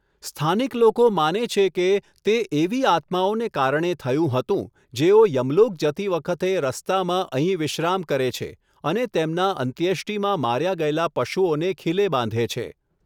સ્થાનિક લોકો માને છે કે તે એવી આત્માઓને કારણે થયું હતું જેઓ યમલોક જતી વખતે રસ્તામાં અહીં વિશ્રામ કરે છે અને તેમના અંત્યેષ્ટિમાં માર્યા ગયેલા પશુઓને ખીલે બાંધે છે.